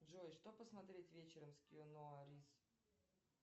джой что посмотреть вечером с киану ривз